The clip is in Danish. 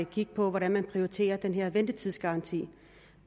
kigge på hvordan man prioriterer den her ventetidsgaranti